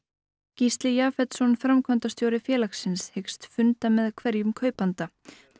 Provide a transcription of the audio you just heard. Gísli framkvæmdastjóri félagsins hyggst funda með hverjum kaupanda